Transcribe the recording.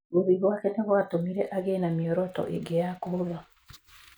Gũthiĩ gwake nĩ gwatũmire agiĩ na mĩoroto ĩngĩ ya kũhũtha.